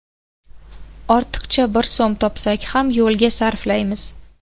Ortiqcha bir so‘m topsak ham yo‘lga sarflaymiz.